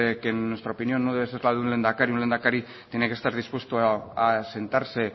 que en nuestra opinión no puede ser la de un lehendakari un lehendakari tiene que estar dispuesto a sentarse